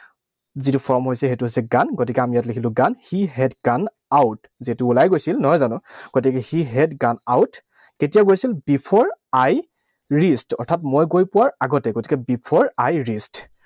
যিটো form হৈছে, সেইটো হৈছে gone, গতিকে আমি ইয়াত লিখিলো gone. He had gone out, যিহেতু ওলাই গৈছিল, নহয় জানো? গতিকে he had gone out, কেতিয়া গৈছিল? Before I reached, অৰ্থাৎ মই গৈ পোৱাৰ আগতে। গতিকে before I reached